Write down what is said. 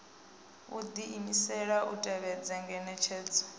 u diimisela u tevhedza ngeletshedzo